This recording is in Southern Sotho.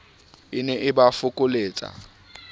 e ne e ba fokoletsa